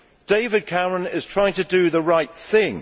David Cameron is trying to do the right thing.